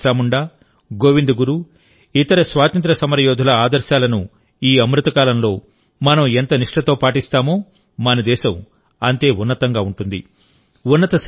భగవాన్ బిర్సా ముండా గోవింద్ గురు ఇతర స్వాతంత్ర్య సమరయోధుల ఆదర్శాలను ఈ అమృత కాలంలో మనం ఎంత నిష్ఠతో పాటిస్తామోమన దేశం అంతే ఉన్నతంగా ఉంటుంది